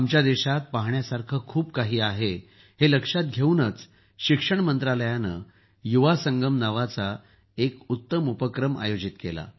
आमच्या देशात पहाण्यासारखं खूप काही आहे हे लक्षात घेऊनच शिक्षण मंत्रालयानं युवासंगम नावाचा एक उत्तम पुढाकार आयोजित केला